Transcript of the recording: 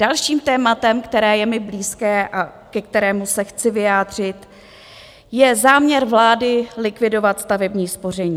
Dalším tématem, které je mi blízké a ke kterému se chci vyjádřit, je záměr vlády likvidovat stavební spoření.